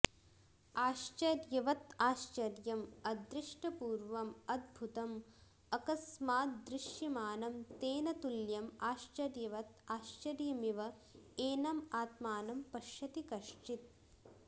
आश्चर्यवत् आश्चर्यम् अदृष्टपूर्वम् अद्भुतम् अकस्माद्दृश्यमानं तेन तुल्यं आश्चर्यवत् आश्चर्यमिव एनम् आत्मानं पश्यति कश्चित्